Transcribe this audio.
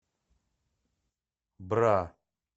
бра